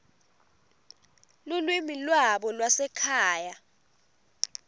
lulwimi lwabo lwasekhaya